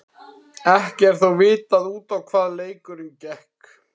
Ekki er þó vitað út á hvað leikurinn gekk.